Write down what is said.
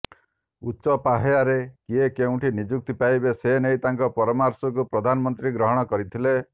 ଉଚ୍ଚ ପାହ୍ୟାରେ କିଏ କେଉଁଠି ନିଯୁକ୍ତି ପାଇବେ ସେ ନେଇ ତାଙ୍କ ପରାମର୍ଶକୁ ପ୍ରଧାନମନ୍ତ୍ରୀ ଗ୍ରହଣ କରିଥିଲେ